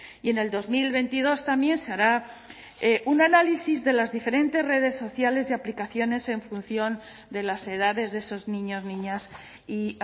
y en el dos mil veintidós también se hará un análisis de las diferentes redes sociales y aplicaciones en función de las edades de esos niños niñas y